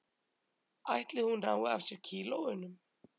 Ætli hún nái af sér kílóunum